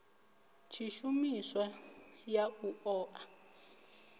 tshishumiswa ya u ṱo ḓa